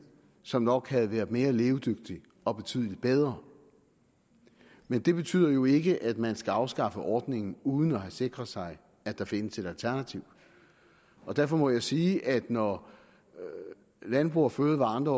som nok havde været mere levedygtigt og betydeligt bedre men det betyder jo ikke at man skal afskaffe ordningen uden at have sikret sig at der findes et alternativ derfor må jeg sige at når landbrug fødevarer og andre